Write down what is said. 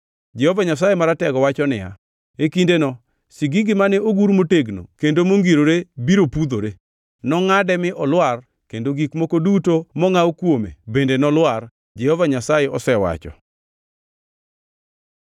Jehova Nyasaye Maratego wacho niya, “E kindeno sigingi mane ogur motegno kendo mongirore biro pudhore, nongʼade mi olwar kendo gik moko duto mongʼaw kuome bende nolwar.” Jehova Nyasaye osewacho.